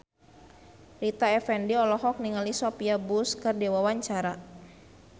Rita Effendy olohok ningali Sophia Bush keur diwawancara